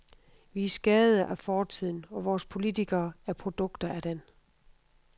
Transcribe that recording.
Vi er skadede af fortiden, og vores politikere er produkter af den.